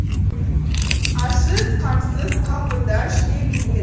арсыз қамсыз қалпында жүре береді